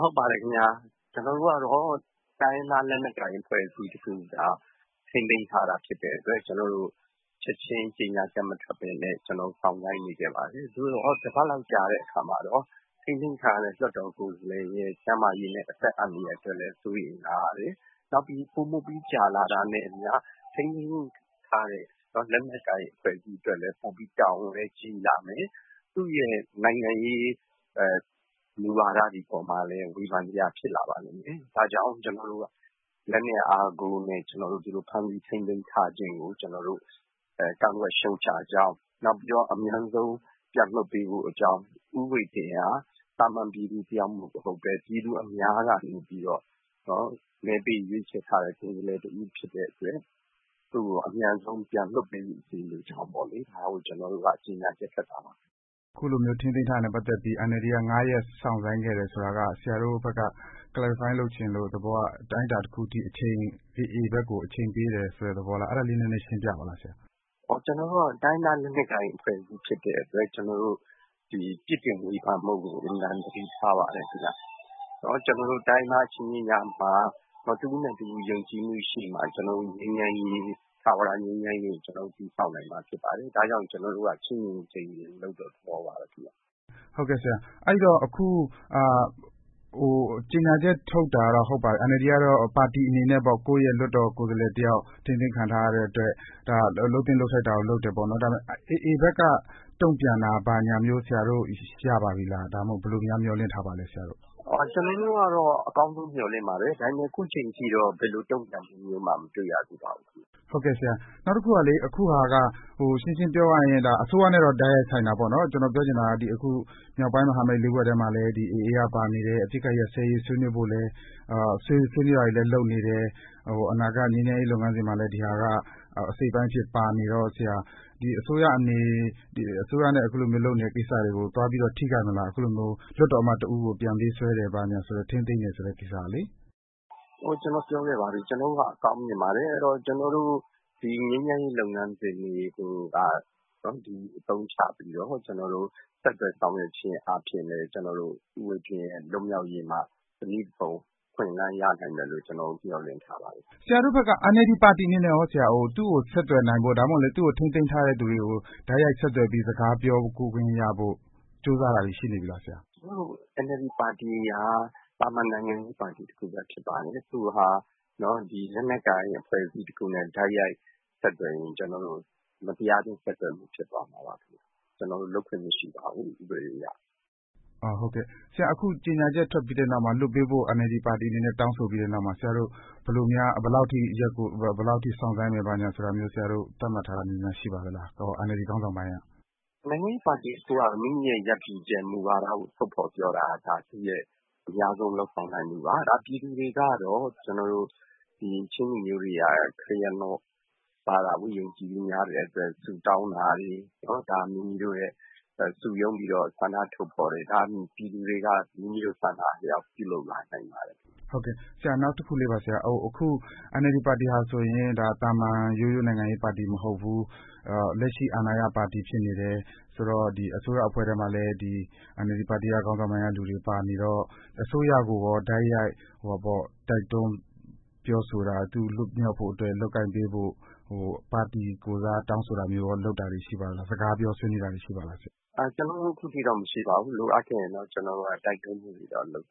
ဟုတ်ပါတယ်ခင်ဗျ၊ ကျနော်တို့ကတော့ တိုင်းရင်းသားလက်နက်ကိုင် အဖွဲ့အစည်းတခုက ထိန်းသိမ်းထားတာဖြစ်တဲ့အတွက် ကျနော်တို့ ချက်ချင်း ကြေညာချက် မထုတ်ဘဲနဲ့ ကျနော်တို့ စောင့်ဆိုင်းနေခဲ့ပါတယ်။ သို့သော် တပတ်လောက် ကြာတဲ့အခါမှာတော့ ထိန်းသိမ်းထားတဲ့ လွှတ်တော်ကိုယ်စားလှယ်ရဲ့ ကျန်းမာရေးနဲ့ အသက်အန္တရာယ်အတွက်လည်း စိုးရိမ်လာရတယ်။ နောက်ပြီး ပိုမိုပြီး ကြာလာတာနဲ့အမျှ ထိန်းသိမ်းထားတဲ့ လက်နက်ကိုင်အဖွဲ့အစည်းအတွက်လည်း ပိုပြီး တာဝန်ကြီးလာမယ်။ သူ့ရဲ့ နိုင်ငံရေး မူဝါဒတွေအပေါ်မှာလည်း ဝေဖန်စရာ ဖြစ်လာပါလိမ့်မယ်။ ဒါကြောင့် လက်နက်အားကိုးနဲ့ ဒီလို ဖမ်းဆီးထိန်းသိမ်းထားခြင်းကို ကျနော်တို့ ကန့်ကွက်ရှုတ်ချကြောင်း၊ နောက်ပြီးတော့ အမြန်ဆုံး ပြန်လွှတ်ပေးဖို့အကြောင်း၊ ဦးဝှေ့တင်းဟာ သာမန်ပြည်သူတယောက် မဟုတ်ဘဲ ပြည်သူအများကနေ မဲပေးရွေးချယ်ထားတဲ့ ကိုယ်စားလှယ်တဦး ဖြစ်တဲ့အတွက် သူ့ကို အမြန်ဆုံး ပြန်လွှတ်ပေးစေလိုကြောင်းပေါ့လေ။ ဒါကို ကျနော်တို့က ကြေညာချက်ထွက်တာပါ။” ခုလို ထိန်းသိမ်းထားတာနဲ့ ပတ်သက်ပြီး NLD က ငါးရက် စောင့်ဆိုင်းခဲ့တယ် ဆိုတာက ဆရာတို့ဘက်က Clarify လုပ်ချင်လို့၊ သဘောက အတိုင်းအတာတခုအထိ AA ဘက်ကို အချိန်ပေးတယ်ဆိုတဲ့ သဘောလား၊ အဲဒါလေး နည်းနည်းရှင်းပြပါ။ “တိုင်းရင်းသား လက်နက်ကိုင်အဖွဲ့အစည်း ဖြစ်တဲ့အတွက် ကျနော်တို့ ပြစ်တင်ဝေဖန်မှုကို အင်မတန် သတိထားပါတယ်။ ကျနော်တို့ တိုင်းရင်းသား အချင်းချင်းကြားမှာ တဦးနဲ့တဦး ယုံကြည်မှုရှိမှ ထာဝရငြိမ်းချမ်းရေးကို တည်ဆောက်နိုင်မှာ ဖြစ်ပါတယ်။ ဒါ့ကြောင့် ကျနော်တို့က ချင့်ချင့်ချိန်ချိန်လုပ်တဲ့ သဘောပါပဲခင်ဗျ။” အဲတော့ အခု ကြေညာချက်ထုတ်တာတော့ ဟုတ်ပါပြီ။ NLD ကတော့ ပါတီအနေနဲ့ ကိုယ့်ရဲ့ လွှတ်တော်ကိုယ်စားလှယ်တယောက် ထိန်းသိမ်းခံထားရတဲ့ အတွက် လုပ်သင့်လုပ်ထိုက်တာကို လုပ်တယ်ပေါ့။ ဒါပေမယ့် AA ဘက်က တုံ့ပြန်တာမျိုး ဘာများ ရထားပါပြီလဲ၊ ဒါမှမဟုတ် ဆရာတို့ ဘယ်လိုများ မျှော်လင့်ထားပါလဲ။ “ကျနေ်ာတို့ကတော့ အကောင်းဆုံး မျှော်လင့်ပါတယ်။ ဒါပေမယ့် ခုချိန်ထိတော့ ဘယ်လိုတုံ့ပြန်မှုမျိုးမှ မတွေ့ရသေးပါဘူး။” အခုဟာက ရှင်းရှင်းပြောရရင် ဒါက အစိုးရနဲ့တော့ တိုက်ရိုက်ဆိုင်တာပေါ့။ ကျနော်ပြောချင်တာက အခု မြောက်ပိုင်းမဟာမိတ် လေးဖွဲ့ထဲမှာလည်း AA က ပါနေတယ်။ အပစ်အခတ်ရပ်စဲရေး ဆွေးနွေးတာတွေလည်း လုပ်နေတယ်။ အနာဂတ် ငြိမ်းချမ်းရေးလုပ်ငန်းစဉ်မှာလည်း ဒီဟာက အစိတ်အပိုင်းအဖြစ် ပါနေတော့ အစိုးရနဲ့လုပ်နေတဲ့ ကိစ္စတွေကို သွားပြီးတော့ ထိခိုက်မလား။ အခုလိုမျိုး လွှတ်တော်အမတ်တဦးကို ပြန်ပေးဆွဲတယ်၊ ထိန်းသိမ်းတယ်ဆိုတဲ့ ကိစ္စကလေ။ “ကျနော်ပြောခဲ့ပါပြီ။ ကျနေ်ာတို့က အကောင်းမြင်ပါတယ်။ အဲတော့ ကျနော်တို့ ငြိမ်းချမ်းရေးလုပ်ငန်းစဉ်တွေကို အသုံးချပြီးတော့ ဆက်သွယ်ဆောင်ရွက်ခြင်း အားဖြင့်လည်း ဦးဝှေ့တင်း လွတ်မြောက်ရေးမှာ တနည်းတဖုံ အခွင့်အလမ်း ရနိုင်မယ်လို့ ကျနော်တို့ မျှော်လင့်ထားပါတယ်။” ဆရာတို့ဘက်က NLD ပါတီအနေနဲ့ရော သူ့ကိုဆက်သွယ်နိုင်ဖို့၊ ဒါမှမဟုတ် သူ့ကိုထိန်းသိမ်းထားတဲ့သူတွေကို တိုက်ရိုက်ဆက်သွယ်ပြီး စကားပြောခွင့်ရဖို့ ကြိုးစားတာတွေ ရှိနေပြီလားဆရာ။ “ကျနော်တို့ NLD ပါတီက သာမန်နိုင်ငံရေးပါတီ တခုပဲ ဖြစ်ပါတယ်။ လက်နက်ကိုင် အဖွဲ့အစည်းတခုနဲ့ တိုက်ရိုက်ဆက်သွယ်ရင် ကျနော်တို့ မတရားအသင်း ဆက်သွယ်မှု ဖြစ်သွားမှာပါ။ ကျနော်တို့ လုပ်ခွင့်မရှိပါဘူး၊ ဥပဒေအရ။” အခု ကြေညာချက်ထုတ်ပြီး နောက်မှာ လွှတ်ပေးဖို့ NLD ပါတီအနေနဲ့ တောင်းဆိုပြီးတဲ့နောက်မှာ ဘယ်လောက်အထိ ရက်ကို စောင့်ဆိုင်းမယ်ဆိုတာမျိုး ဆရာတို့ သတ်မှတ်ထားတာမျိုးများ ရှိပါသလား။ NLD ခေါင်းဆောင်ပိုင်းက။ “နိုင်ငံရေးပါတီတခုက မိမိရဲ့ ရပ်တည်ချက် မူဝါဒကို ထုတ်ဖော်ပြောတာက ဒါ သူ့ရဲ့ အများဆုံး လုပ်ကိုင်နိုင်မှုပါ။ ပြည်သူတွေကတော့ ချင်းလူမျိုးတွေက ခရစ်ယာန်ဘာသာကို ယုံကြည်မှုများတဲ့အတွက် ဆုတောင်းတာတွေ၊ ဒါ မိမိတို့ရဲ့ စုရုန်းပြီးတော့ ဆန္ဒထုတ်ဖော်တယ်။ ဒါ ပြည်သူတွေက မိမိတို့ ဆန္ဒအလျောက် ပြုလုပ်လာနိုင်ပါတယ်။” နောက်တခုက NLD ပါတီဟာဆိုရင် သာမန်ရိုးရိုး နိုင်ငံရေးပါတီ မဟုတ်ဘူး။ လက်ရှိ အာဏာရပါတီ ဖြစ်နေတယ်။ အစိုးရအဖွဲ့ထဲမှာလည်း NLD ပါတီ ခေါင်းဆောင်ပိုင်းကလူတွေ ပါနေတော့ အစိုးရကိုရော တိုက်ရိုက် တိုက်တွန်းပြောဆိုတာ သူ လွတ်မြောက်ဖို့အတွက် လုပ်ကိုင်ပေးဖို့ ပါတီကိုယ်စား တောင်းဆိုတာမျိုးရော လုပ်တာတွေ ရှိပါသလား၊ စကားပြော ဆွေးနွေးတာတွေ ရှိပါသလား ဆရာ။ “ကျနော်တို့ ခုထိတော့ မရှိပါဘူး။ လိုအပ်ရင်တော့ ကျနေ်ာတို့က တိုက်တွန်းမှုတွေတော့ လုပ်